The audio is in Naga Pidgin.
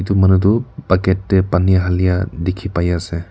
etu manu tu bucket te pani halia dekhi pai ase.